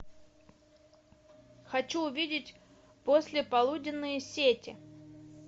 хочу увидеть послеполуденные сети